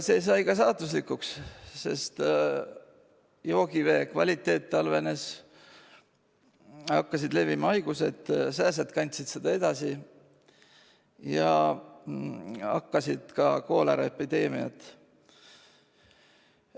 See sai neile ka saatuslikuks, sest joogivee kvaliteet halvenes, hakkasid levima haigused, sääsed kandsid neid edasi, ja puhkesid kooleraepideemiad.